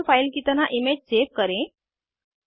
mol file की तरह image save करें